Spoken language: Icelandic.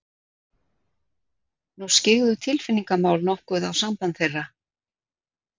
Nú skyggðu tilfinningamál nokkuð á samband þeirra.